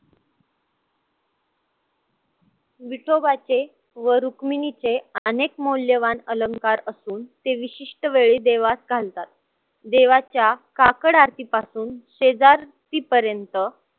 विठोबाचे व रुक्मिणीचे अनेक मौल्यवान अलंकार असून ते विशिष्ट वेळी देवास घालतात. देवाची काकड आरतीपासून पर्यंत